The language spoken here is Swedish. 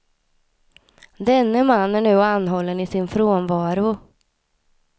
Denne man är nu anhållen i sin frånvaro.